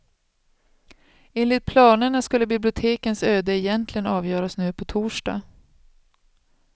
Enligt planerna skulle bibliotekens öde egentligen avgöras nu på torsdag.